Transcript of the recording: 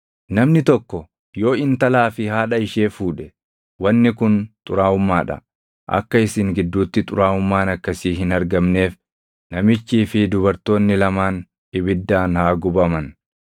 “ ‘Namni tokko yoo intalaa fi haadha ishee fuudhe, wanni kun xuraaʼummaa dha. Akka isin gidduutti xuraaʼummaan akkasii hin argamneef namichii fi dubartoonni lamaan ibiddaan haa gubaman.